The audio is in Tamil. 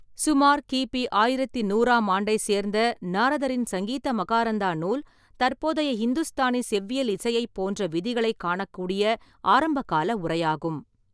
சுமார் கி. பி. ஆயிரத்து நூறாம் ஆண்டை சேர்ந்த நாரதரின் சங்கீத மகாரந்தா நூல், தற்போதைய இந்துஸ்தானி செவ்வியல் இசையைப் போன்ற விதிகளைக் காணக்கூடிய ஆரம்பகால உரையாகும்.